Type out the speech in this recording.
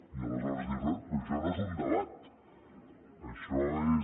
i aleshores dius bé però això no és un debat això és